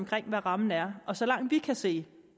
til hvad rammen er og så langt vi kan se